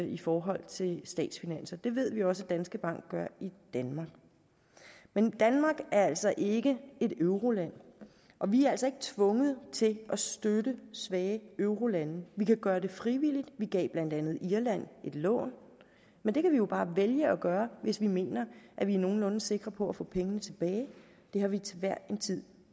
i forhold til statsfinanser det ved vi også at danske bank gør i danmark men danmark er altså ikke et euroland og vi er altså ikke tvunget til at støtte svage eurolande vi kan gøre det frivilligt vi gav blandt andet irland et lån men det kan vi jo bare vælge at gøre hvis vi mener at vi er nogenlunde sikre på at få pengene tilbage det har vi til hver en tid